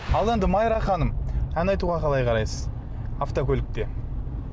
ал енді майра ханым ән айтуға қалай қарайсыз автокөлікте